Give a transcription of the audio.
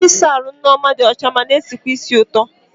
Ebe ịsa ahụ nke Nneoma dị ọcha ma na-esikwa ísì ụtọ.